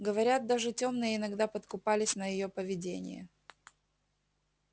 говорят даже тёмные иногда подкупались на её поведение